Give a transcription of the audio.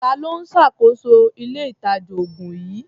Ta ló ń ṣàkóso ilé-ìtàjà-oògùn yìí?